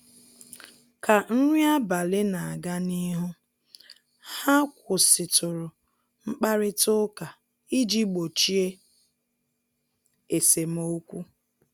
Ka nri abalị na-aga n'ihu, ha kwụsịtụrụ mkparịta ụka iji gbochie esemokwu